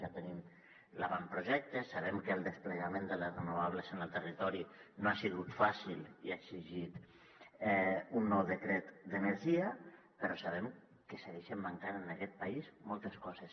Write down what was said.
ja en tenim l’avantprojecte sabem que el desplegament de les renovables en el territori no ha sigut fàcil i ha exigit un nou decret d’energia però sabem que segueixen mancant en aquest país moltes coses